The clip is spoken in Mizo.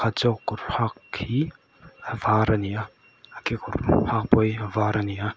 zawk kawr hak khi a var a ni a a kekawr hak pawh hi a var a ni a.